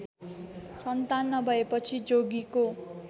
सन्तान नभएपछि जोगीको